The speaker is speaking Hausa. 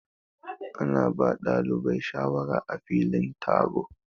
Ana ba dalibai shawara á filin taro.